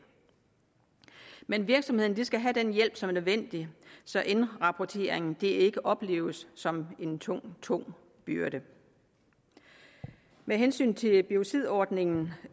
men virksomhederne skal have den hjælp som er nødvendig så indrapporteringen ikke opleves som en tung tung byrde med hensyn til biocidordningen